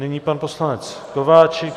Nyní pan poslanec Kováčik.